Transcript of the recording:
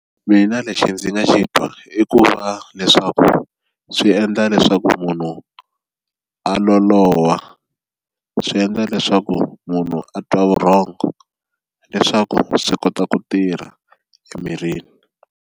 Mina lexi ndzi nga xi twa i ku va leswaku swi endla leswaku munhu a loloha, swi endla leswaku munhu a twa vurhongo leswaku swi kota ku tirha emirini.